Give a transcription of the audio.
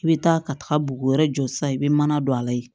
I bɛ taa ka taa bugu wɛrɛ jɔ sisan i bɛ mana don a la yen